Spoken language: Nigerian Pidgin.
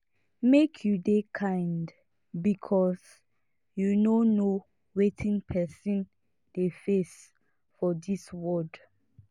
make you dey kind because you no know wetin person dey face for dis world